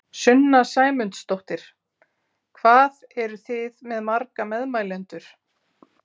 Sunna Sæmundsdóttir: Hvað eruð þið með marga meðmælendur?